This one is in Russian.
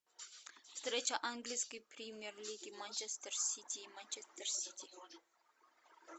встреча английской премьер лиги манчестер сити и манчестер сити